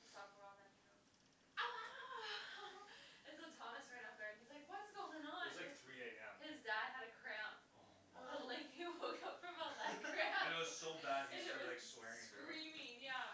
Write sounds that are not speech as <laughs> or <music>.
it stopped a while and then he goes ouah ouah ouah <laughs> and so Thomas ran up there and he's like what's going it on was like three am his dad had a cramp oh my and like oh he woke up <laughs> from a leg cramp <laughs> and and it it was was <laughs> so bad he and it started like was swearing in German screaming yeah